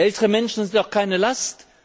Ältere Menschen sind auch keine